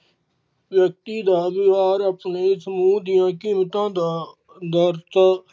ਵਿਅਕਤੀ ਦਾ ਵਿਹਾਰ ਆਪਣੇ ਸਮੂਹ ਦੀਆ ਘਿਰਤਾ ਦਾ ਦਰਜਾ